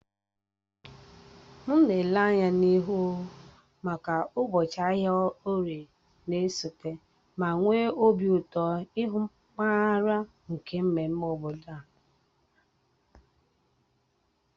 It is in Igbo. M na-ele anya n'ihu maka ụbọchị ahịa orie na-esote, ma nwee obi ụtọ ịhụ nkpaghari nke mmemme obodo.